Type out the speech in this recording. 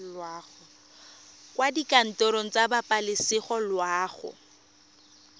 kwa dikantorong tsa pabalesego loago